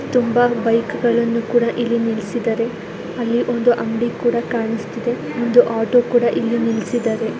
ತುಂಬಾ ಬೈಕ್ ಗಳನ್ನು ಕೂಡ ಇಲ್ಲಿ ನಿಲ್ಲಿಸಿದ್ದಾರೆ ಅಲ್ಲಿ ಒಂದು ಅಂಗಡಿ ಕೂಡ ಕಾಣಿಸ್ತಿದೆ ಒಂದು ಆಟೋ ಕೂಡ ಇಲ್ಲಿ ನಿಲ್ಲಿಸಿದ್ದಾರೆ.